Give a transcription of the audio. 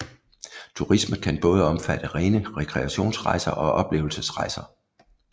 Turisme kan både omfatte rene rekreationsrejser og oplevelsesrejser